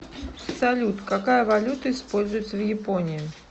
салют какая валюта используется в японии